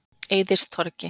Eiðistorgi